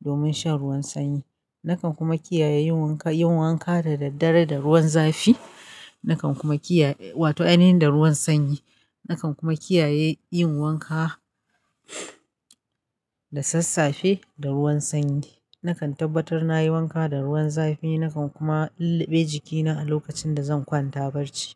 domin shan ruwan sanyi. Nakan kuma kiyaye yin wanka, yin wanka da daddare da ruwan zafi. Nakan kuma kiyaye, wato a aynayin da ruwan sanyi. Nakan kuma kiyaye yin wanka da sassafe da ruwan sanyi. Nakan tabbatar nayi wanka da ruwan zafi. Nakan kuma lulluɓe jikina a lokacin da zan kwanta barci.